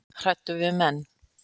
Hræddur við menn